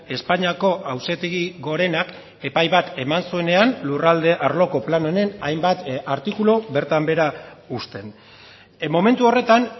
espainiako auzitegi gorenak epai bat eman zuenean lurralde arloko plan honen hainbat artikulu bertan behera uzten momentu horretan